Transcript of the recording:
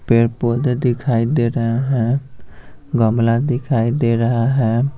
पेड़-पौधे दिखाई दे रहे हैं गमला दिखाई दे रहा है।